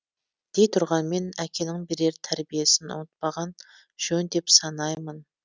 дей тұрғанмен әкенің берер тәрбиесін ұмытпаған жөн деп санаймын